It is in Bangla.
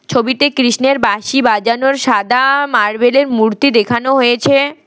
ছবিতে কৃষ্ণের বাঁশি বাজানোর সাদা মার্বেলের মূর্তি দেখানো হয়েছে।